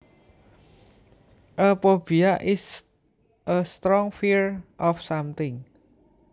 A phobia is a strong fear of something